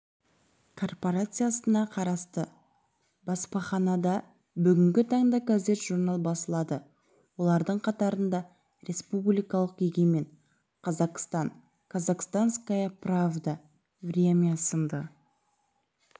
корпорациясына қарасты баспаханада бүгінгі таңда газет-журнал басылады олардың қатарында республикалық егемен қазақстан казахстанская правда время сынды